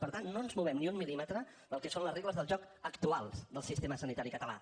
per tant no ens movem ni un mil·límetre del que són les regles del joc actuals del sistema sanitari català